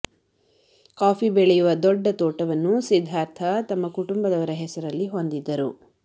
coffee ಬೆಳೆಯುವ ದೊಡ್ಡ ತೋಟವನ್ನು ಸಿದ್ಧಾರ್ಥ ತಮ್ಮ ಕುಟುಂಬದವರ ಹೆಸರಲ್ಲಿ ಹೊಂದಿದ್ದರು